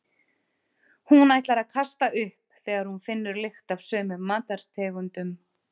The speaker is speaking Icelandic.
Hún ætlar að kasta upp þegar hún finnur lykt af sumum matartegundum.